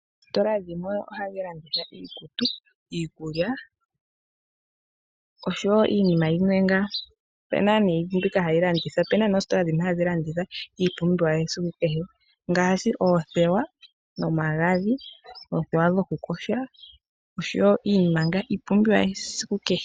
Oositola dhimwe ohadhi landitha iikutu, iikulya osho wo iinima yimwe ngaa. Opuna nee ositola dhimwe hadhi landitha iipumbiwa yesiku kehe ngaashi oothewa nomagadhi, oothewa dhokuyoga osho wo iinima ngaa iipumbiwa yesiku kehe.